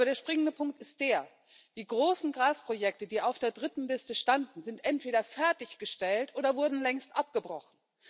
Aber der springende Punkt ist der Die großen Gasprojekte, die auf der dritten Liste standen, sind entweder fertiggestellt oder wurden längst abgebrochen.